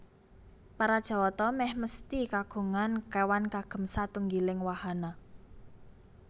Para Jawata mèh mesthi kagungan kéwan kagem satunggiling wahana